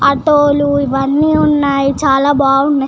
auto లు ఇవన్నీ వున్నాయి చాల బాగున్నాయి